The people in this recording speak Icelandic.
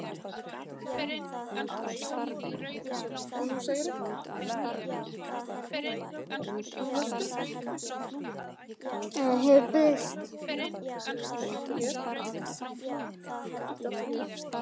En hann hefur breyst.